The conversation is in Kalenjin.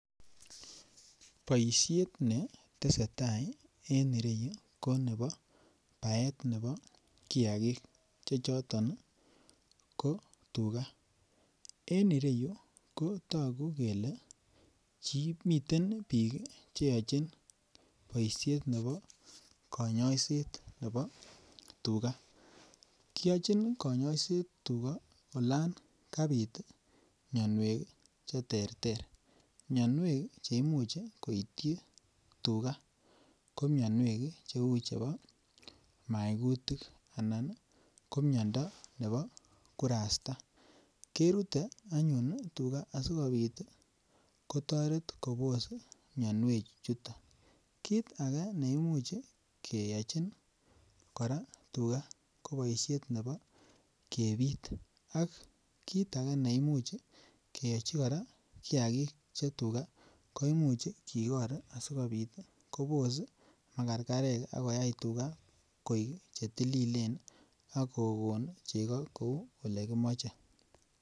Boishet netesetai en ireyuu ko nebo baet nebo kiyakik chechoton ko tugaa. En ireyuu ko toku kele miten bik cheyochi boishet nebo konyoiset nebo tugaa, kiyochi konyoiset tugaa olon kapit mionwek cheterter. Mionwek cheimuch koityi tugaa ko mionwek cheu chebo maikutik anan ko miondo nebo burasta kerute anyun tugaa asikopit kotoret Kobos mionwek chuton. Kit age neimuch keyochi Koraa tugaa ko boishet nebo kepit ak kit age neimuch keyochi Koraa kiyakik che tugaa ko imuch kikor asikopit Kobos magargarek akoyai tugaa koik chetililen ak kokon cheko kou olekimoche.